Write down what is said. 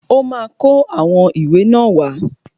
Ọ́ ma kó àwọn ìwé náà wá.